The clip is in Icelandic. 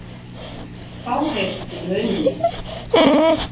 Fáheyrt í rauninni.